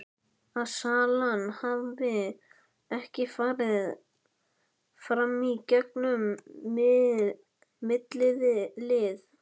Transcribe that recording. Að salan hafi ekki farið fram í gegn um millilið.